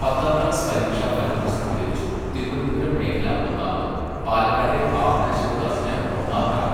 പത്താം ക്ലാസ് പരീക്ഷാ ഫലം പ്രസിദ്ധീകരിച്ചു, തിരുവനന്തപുരം മേഖല ഒന്നാമത്, പാലക്കാട്ടെ ഭാവന ശിവദാസിന് ഒന്നാം റാങ്ക്.